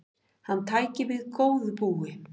Hann tæki við góðu búi.